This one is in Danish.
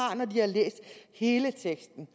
har når de har læst hele teksten